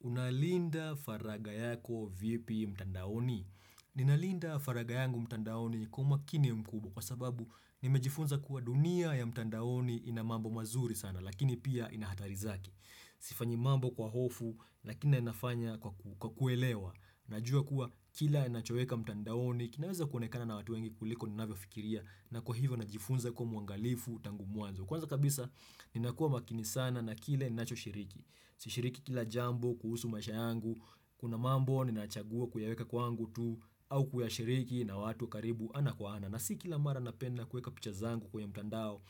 Unalinda faraga yako vipi mtandaoni? Ninalinda faragha yangu mtandaoni kwa umakini mkubwa kwa sababu nimejifunza kuwa dunia ya mtandaoni ina mambo mazuri sana, lakini pia ina hatari zake. Sifanyi mambo kwa hofu, lakini naifanya kwa kuelewa. Najua kuwa kila nachoweka mtandaoni kinaweza kuonekana na watu wengi kuliko ninavyofikiria na kwa hivyo najifunza kuwa mwangalifu tangu mwanzo. Kwanza kabisa ninakuwa makini sana na kile ninachoshirik. Sishiriki kila jambo kuhusu maisha yangu. Kuna mambo ninachagua kuyaweka kwangu tu au kuyashiriki na watu karibu ana kwa ana. Na si kila mara napenda kuweka picha zangu kwenye mtandao.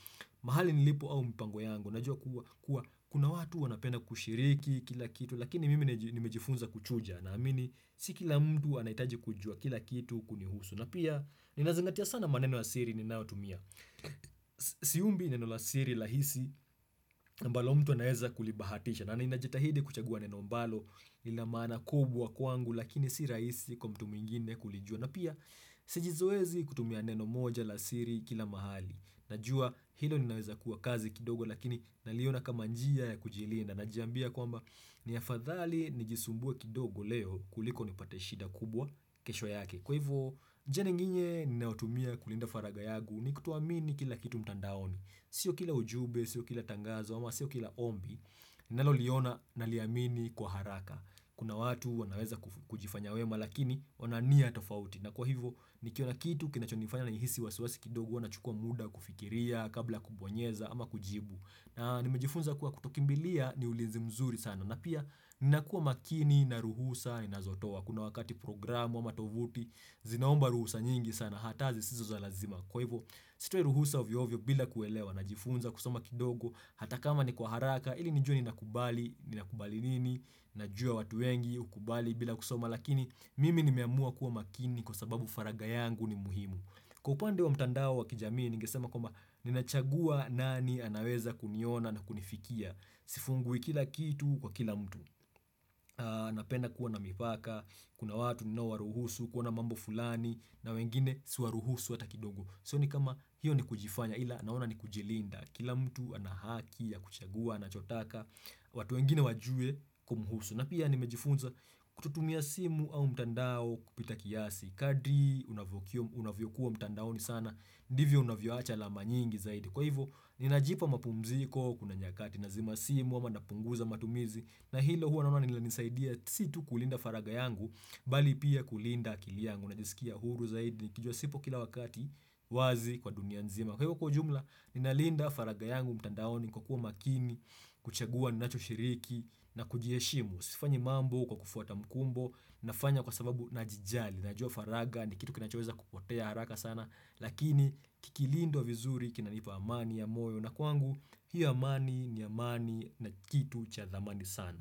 Mahali nilipo au mpango yangu. Najuwa kuwa kuna watu wanapenda kushiriki kila kitu lakini mimi nimejifunza kuchuja. Naamini si kila mtu anahitaji kujua kila kitu kunihusu. Na pia ninazingatia sana maneno ya siri ninayotumia. Siumbi neno la siri rahisi ambalo mtu anaeza kulibahatisha. Na ninajetahidi kuchagua neno ambalo lina maana kubwa kwangu lakini si raisi kwa mtu mwingine kulijua. Na pia sijizoeshi kutumia neno moja la siri kila mahali. Najua hilo linaweza kuwa kazi kidogo lakini naliona kama njia ya kujilinda, najiambia kwamba ni afadhali nijisumbue kidogo leo kuliko nipate shida kubwa kesho yake. Kwa hivyo, njia nyingine ninayotumia kulinda faragha yangu ni kutoamini kila kitu mtandaoni. Sio kila ujumbe, sio kila tangazo, ama sio kila ombi, nalo liona na liamini kwa haraka. Kuna watu wanaweza kujifanya wema, lakini wanania tofauti. Na kwa hivyo, nikiona kitu, kinachonifanya nihisi wasiwasi kidogo, huwa nachukua muda kufikiria kabla kubonyeza ama kujibu. Na nimejifunza kuwa kutokimbilia ni ulinzi mzuri sana. Na pia, ninakuwa makini na ruhusa ninazotowa. Kuna wakati programu ama tovuti zinaomba ruhusa nyingi sana, hata zisizo za lazima. Kwa hivyo, sitoi ruhusa ovyoovyo bila kuelewa na jifunza kusoma kidogo, hata kama ni kwa haraka, ili nijue nina kubali, nina kubali nini, najua watu wengi, hukubali bila kusoma. Lakini, mimi nimeamua kuwa makini kwa sababu faragha yangu ni muhimu. Kwa upande wa mtandao wa kijamii, ningesema kwamba ninachagua nani anaweza kuniona na kunifikia. Sifungui kila kitu kwa kila mtu. Napenda kuwa na mipaka, kuna watu ninaowaruhusu, kuwa na mambo fulani, na wengine siwaruhusu hata kidogo. Sioni kama hiyo ni kujifanya ila naona ni kujilinda, kila mtu anahaki ya kuchagua anachotaka watu wengine wajue kumhusu na pia nimejifunza kutotumia simu au mtandao kupita kiasi kadri unavyokuwa mtandaoni sana, ndivyo unavyoacha alama nyingi zaidi. Kwa hivyo, ninajipa mapumziko kuna nyakati nazima simu ama napunguza matumizi na hilo huwa naona linasaidia si tu kulinda faragha yangu bali pia kulinda akili yangu. Najisikia huru zaidi nikijua sipo kila wakati wazi kwa dunia nzima. Kwa hivyo kwa jumla, ninalinda faragha yangu mtandaoni kwa kuwa makini, kuchagua ninachoshiriki na kujiheshimu. Sifanyi mambo kwa kufuata mkumbo nafanya kwa sababu najijali. Najua faragha ni kitu kinachoweza kupotea haraka sana, lakini kikilindwa vizuri kinanipa amani ya moyo, na kwangu hio amani ni amani na kitu cha dhamani sana.